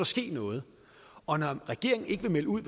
ske noget og når regeringen ikke vil melde ud